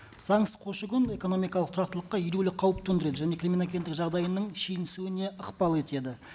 заңсыз көші қон экономикалық тұрақтылыққа елеулі қауіп төндіреді және криминогендік жағдайының ықпал етеді